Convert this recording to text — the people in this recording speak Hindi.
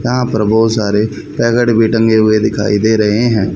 यहां पर बहोत सारे पैकेट भी टंगे हुए दिखाई दे रहे हैं।